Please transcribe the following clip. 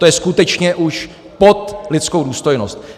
To je skutečně už pod lidskou důstojnost.